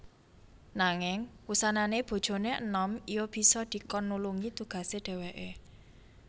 Nanging wusanané bojoné enom iya bisa dikon nulungi tugasé dhèwèké